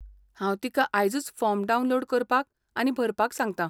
हांव तिका आयजूच फॉर्म डावनलोड करपाक आनी भरपाक सांगता.